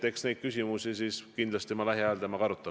Eks ma neid küsimusi kindlasti temaga lähiajal arutan.